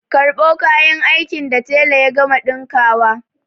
Karɓo kayan aikin da tela ya gama ɗinkawa!